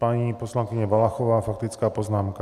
Paní poslankyně Valachová faktická poznámka.